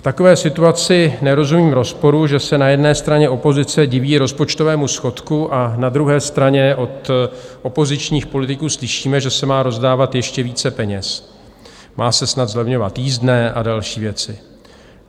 V takové situaci nerozumím rozporu, že se na jedné straně opozice diví rozpočtovému schodku a na druhé straně od opozičních politiků slyšíme, že se má rozdávat ještě více peněz, má se snad zlevňovat jízdné a další věci.